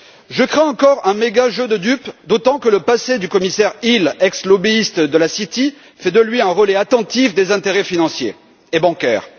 Je crains encore un méga jeu de dupes, d'autant que le passé du commissaire Hill, ex lobbyiste de la City, fait de lui un relais attentif des intérêts financiers et bancaires.